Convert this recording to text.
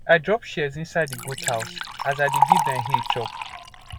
i drop shears inside di goat house as i dey give dem hay chop